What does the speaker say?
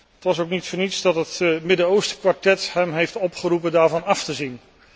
Het was ook niet voor niets dat het Midden Oostenkwartet hem heeft opgeroepen daarvan af te zien.